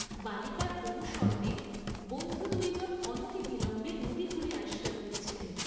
বালিকার অনুসরণে বন্ধু দুইজন অনতিবিলম্বে নদীকূলে আসিয়া পৌঁছিলেন।